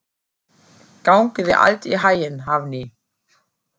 Gangi þér allt í haginn, Hafný.